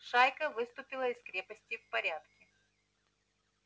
шайка выступила из крепости в порядке